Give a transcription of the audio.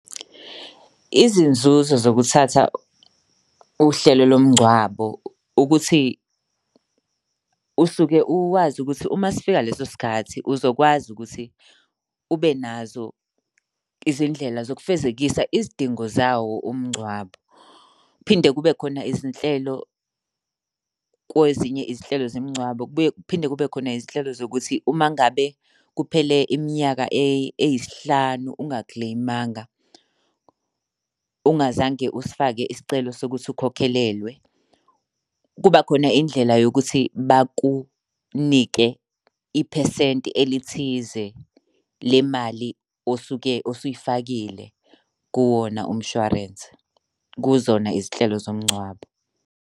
Izinzuzo zokuthatha uhlelo lomngcwabo, ukuthi usuke uwazi ukuthi uma sifika leso sikhathi uzokwazi ukuthi ube nazo izindlela zokufezekisa izidingo zawo umngcwabo. Kuphinde kube khona izinhlelo kwezinye izinhlelo zemngcwabo. Kubuye kuphinde kube khona izinhlelo zokuthi uma ngabe kuphele iminyaka eyisihlanu ungakileyimanga, ungazange usifake isicelo sokuthi ukhokhelelwe, kuba khona indlela yokuthi bakunike iphesenti elithize le mali osuke usuyifakile kuwona umshwarensi. Kuzona izinhlelo zomngcwabo.